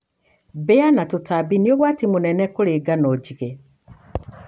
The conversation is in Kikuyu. Mbĩa na tũtambi nĩũgwati mũnene kũrĩ ngano njige.